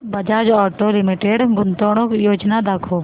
Bajaj auto limited गुंतवणूक योजना दाखव